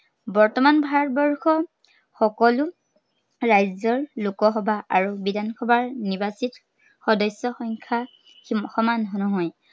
বৰ্তমান ভাৰতবৰ্ষৰ সকলো, ৰাজ্য়ৰ লোকসভা আৰু বিধানসভাৰ নিৰ্বাচিত সদস্য়ৰ সংখ্য়া সমান নহয়।